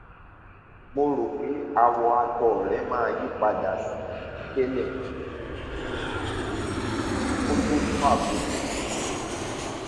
mo rò pé àwọ àtọ rẹ máa yípadà sí titẹlẹ kó tó tó àkókò kan